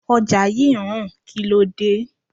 Ọjà yí ń rùn, kíló dé?